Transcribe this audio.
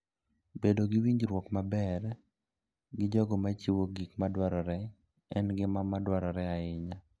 Bedo gi winjruok maber gi jogo machiwo gik madwarore en gima dwarore ahinya.